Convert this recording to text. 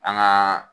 An gaa